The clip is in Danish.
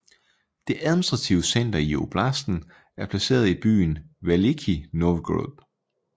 Det administrative center i oblasten er placeret i byen Velikij Novgorod